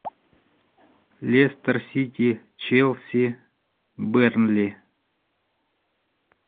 лестер сити челси бернли